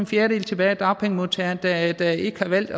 fjerdedel tilbage af dagpengemodtagerne der der ikke har valgt